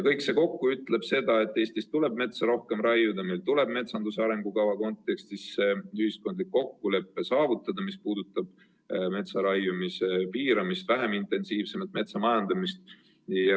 Kõik see kokku ütleb selle kohta, kas Eestis tuleb metsa rohkem raiuda, et meil tuleb metsanduse arengukava kontekstis saavutada ühiskondlik kokkulepe, mis puudutab metsaraiumise piiramist, vähem intensiivsemat metsamajandamist.